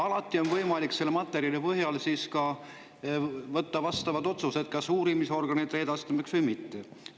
Alati on võimalik selle materjali põhjal võtta vastu otsused, et kas siis uurimisorganitele edastada või mitte.